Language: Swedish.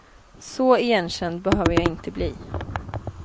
Så igenkänd behöver jag inte bli.